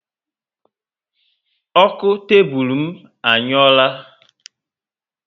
Oku tebulu m anyuora